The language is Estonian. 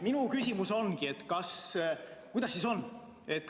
Minu küsimus ongi, et kuidas siis on.